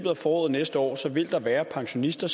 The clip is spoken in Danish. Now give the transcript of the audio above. af foråret næste år vil der være pensionister